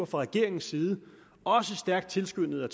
fra regeringens side også stærkt tilskyndet af